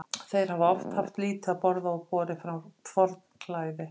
Þeir hafa oft haft lítið að borða og borið forn klæði.